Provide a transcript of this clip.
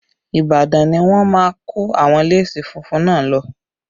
Ibadan ni wọ́n máa kó àwọn léèsì funfun náà lọ